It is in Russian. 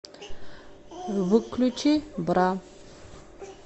выключи бра